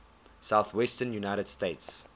southwestern united states